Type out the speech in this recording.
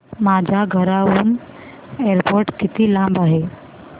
माझ्या घराहून एअरपोर्ट किती लांब आहे